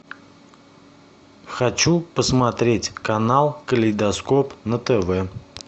хочу посмотреть канал калейдоскоп на тв